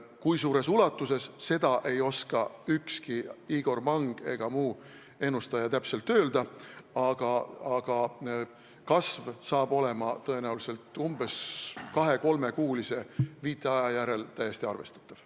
Kui suures ulatuses, seda ei oska ükski Igor Mang ega muu ennustaja täpselt öelda, aga kasv on tõenäoliselt 2–3-kuulise viitaja järel täiesti arvestatav.